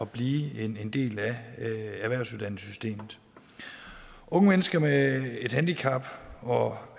blive en del af erhvervsuddannelsessystemet unge mennesker med et handicap og